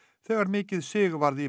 þegar mikið sig varð í